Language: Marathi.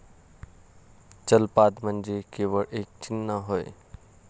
चलपाद म्हणजे केवळ एक चिन्ह होय.